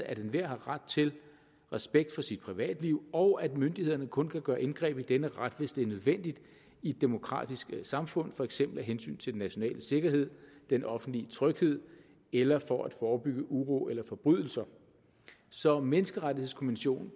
at enhver har ret til respekt for sit privatliv og at myndighederne kun kan gøre indgreb i denne ret hvis det er nødvendigt i et demokratisk samfund for eksempel af hensyn til den nationale sikkerhed den offentlige tryghed eller for at forebygge uro eller forbrydelser så menneskerettighedskonventionen